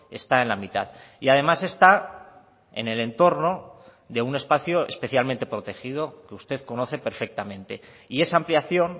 está en la mitad y además está en el entorno de un espacio especialmente protegido que usted conoce perfectamente y esa ampliación